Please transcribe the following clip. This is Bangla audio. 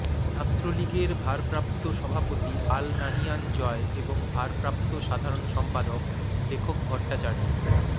ছাত্রলীগের ভারপ্রাপ্ত সভাপতি আল নাহিয়ান জয় এবং ভারপ্রাপ্ত সাধারণ সম্পাদক লেখক ভট্টাচার্য